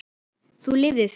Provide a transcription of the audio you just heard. Þú lifðir því.